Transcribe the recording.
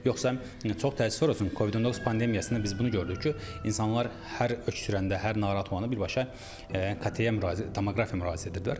Yoxsa çox təəssüf olsun, Covid-19 pandemiyasında biz bunu gördük ki, insanlar hər öskürəndə, hər narahat olanda birbaşa KT-yə müraciət, tomoqrafiyaya müraciət edirdilər.